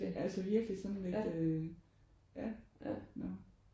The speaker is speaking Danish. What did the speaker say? Altså virkelig sådan lidt ja når